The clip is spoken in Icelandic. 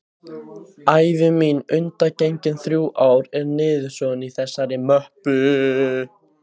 Ævi mín undangengin þrjú ár er niðursoðin í þessari möppu.